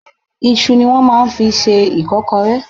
Isu ni wọ́n máa ń fi ń ṣe ìkọ́kọrẹ́.